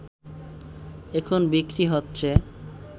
এখন বিক্রি হচ্ছে